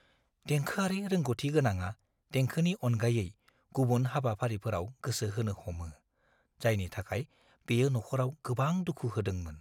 देंखोआरि रोंग'थि गोनाङा देंखोनि अनगायै गुबुन हाबाफारिफोराव गोसो होनो हमो, जायनि थाखाय बेयो नखराव गोबां दुखु होदोंमोन।